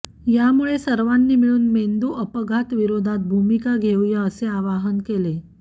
यामुळे सर्वांनी मिळून मेंदु अपघात विरोधात भूमिका घेवूया असे आवाहन केले